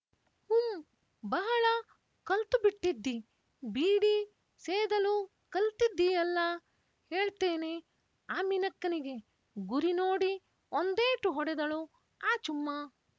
ಹುಂ ಬಹಳ ಕಲ್ತು ಬಿಟ್ಟಿದ್ದಿ ಬೀಡಿ ಸೇದಲು ಕಲ್ತಿದ್ದೀಯಲ್ಲಾ ಹೇಳ್ತೇನೆ ಆಮಿನಕ್ಕನಿಗೆ ಗುರಿ ನೋಡಿ ಒಂದೇಟು ಹೊಡೆದಳು ಆಚುಮ್ಮ